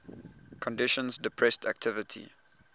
conditions depressed activity